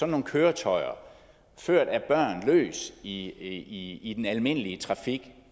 nogle køretøjer ført af børn løs i i den almindelige trafik